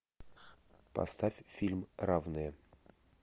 поставь фильм равные